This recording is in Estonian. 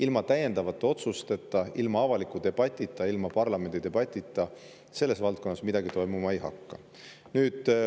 Ilma täiendavate otsusteta, ilma avaliku debatita, ilma parlamendi debatita selles valdkonnas midagi toimuma ei hakka.